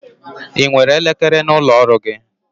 I nwere elekere n'ụlọ ọrụ gi?